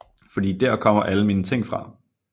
Fordi dér kommer alle mine ting fra